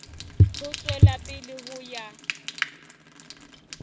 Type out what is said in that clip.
ho tswela pele ho ya